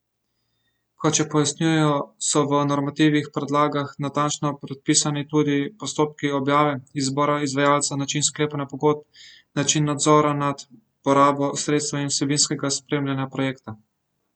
Kot še pojasnjujejo, so v normativnih podlagah natančno predpisani tudi postopki objave, izbora izvajalca, način sklepanja pogodb, način nadzora nad porabo sredstev in vsebinskega spremljanja projekta.